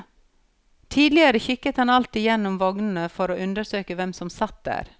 Tidligere kikket han alltid igjennom vognene for å undersøke hvem som satt der.